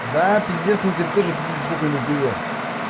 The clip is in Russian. да пиздец мне теперь тоже пиздец сколько не курил